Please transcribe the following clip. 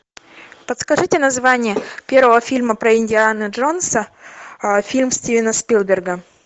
подскажите название первого фильма про индиану джонса фильм стивена спилберга